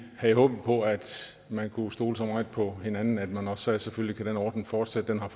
havde håbet på at man kunne stole så meget på hinanden at man også sagde selvfølgelig kan den ordning fortsætte den har